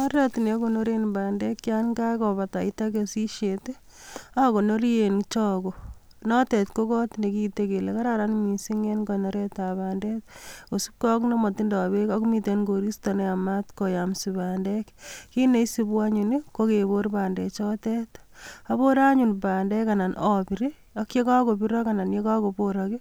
Oret ne akonoren bandek yon kakobataita keshishet akonori en chogo notet ko kot nekiitei kele kararan mising' en konoretab bandek kosupgei ak nematindoi beek akomiten koristo neyamat koyomso bandek kit neisubi anyun kokebor bandechotet abore anyun bandek anan abir ak yekakobirok ana yekakobirok